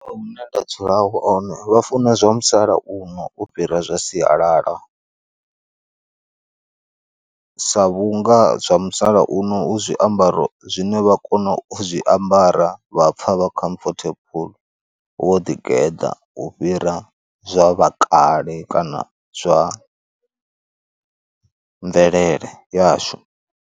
Hune nda dzula hone vha funa zwa musalauno u fhira zwa sialala . Sa vhunga zwa musalauno hu zwiambaro zwine vha kona u zwi zwiambara vha pfa vha khomfothabuḽu wo ḓi geḓa u fhira zwa vhakale kana zwa mvelele yashu.